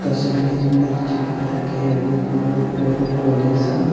तस्वीर भी चिपकाए गया है बहुत बड़ी सा।